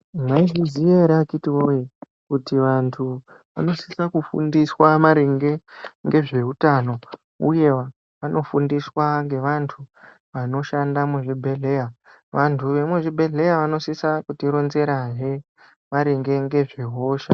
Mwaizviziya ere akhitiwoye, kuti vantu vanosisa kufundiswa maringe ngezveutano, uye vanofundiswa ngevantu vanoshanda muzvibhedhleya? Vantu vemuzvibhedhleya vanosisa kutironzerahe maringe ngezvehosha.